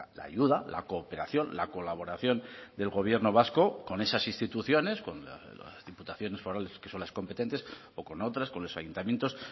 la ayuda la cooperación la colaboración del gobierno vasco con esas instituciones con las diputaciones forales que son las competentes o con otras con los ayuntamientos